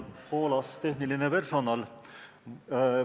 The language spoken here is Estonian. Hoolas tehniline personal!